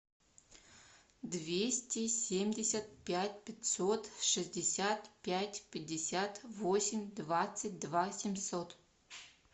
двести семьдесят пять пятьсот шестьдесят пять пятьдесят восемь двадцать два семьсот